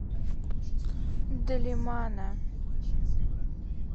далимана